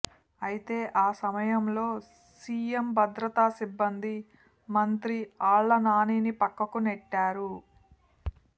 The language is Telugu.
అయితే ఆ సమయంలో సీఎం భద్రతా సిబ్బంది మంత్రి ఆళ్లనానిని పక్కకు నెట్టారు